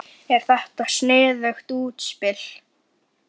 Er þetta sniðugt útspil?